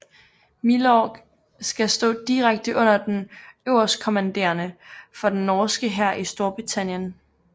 Milorg skal stå direkte under den øverstkommanderende for den norske hær i Storbritannien